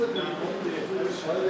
Çox möhkəmdir.